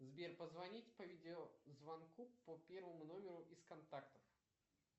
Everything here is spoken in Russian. сбер позвонить по видеозвонку по первому номеру из контактов